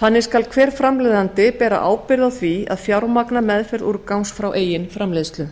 þannig skal hver framleiðandi bera ábyrgð á því að fjármagna meðferð úrgangs frá eigin framleiðslu